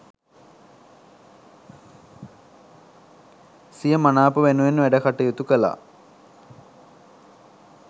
සිය මනාප වෙනුවෙන් වැඩ කටයුතු කළා.